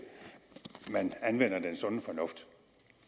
anvender den sunde fornuft